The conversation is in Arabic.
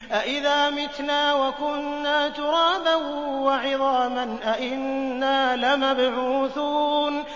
أَإِذَا مِتْنَا وَكُنَّا تُرَابًا وَعِظَامًا أَإِنَّا لَمَبْعُوثُونَ